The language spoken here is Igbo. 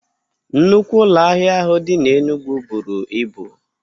Nnukwu ụlọ ahịa ahụ dị n'Enugwu buru ibu.